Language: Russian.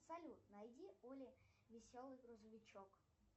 салют найди оле веселый грузовичок